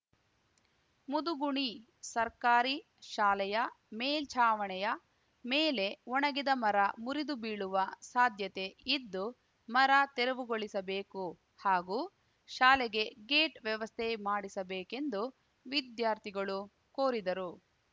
ಮುದುಗುಣಿ ಸರ್ಕಾರಿ ಶಾಲೆಯ ಮೇಲ್ಛಾವಣಿಯ ಮೇಲೆ ಒಣಗಿದ ಮರ ಮುರಿದು ಬೀಳುವ ಸಾಧ್ಯತೆ ಇದ್ದು ಮರ ತೆರವುಗೊಳಿಸಬೇಕು ಹಾಗೂ ಶಾಲೆಗೆ ಗೇಟ್‌ ವ್ಯವಸ್ಥೆ ಮಾಡಿಸಬೇಕೆಂದು ವಿದ್ಯಾರ್ಥಿಗಳು ಕೋರಿದರು